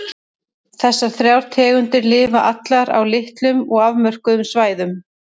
Þessar þrjár tegundir lifa allar á litlum og afmörkuðum svæðum.